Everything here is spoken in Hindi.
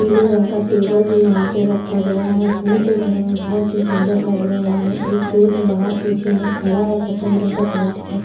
पीले रंग का टेबल भी वहाँ पर रखा गया है। फूल देखने मे बहुत सुंदर लग रहे हैं। एक फूल वहाँ पीछे मे खड़ा है सफेद रंग का पैंट शर्ट --